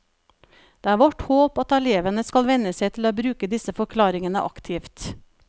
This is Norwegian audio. Det er vårt håp at elevene skal venne seg til å bruke disse forklaringene aktivt.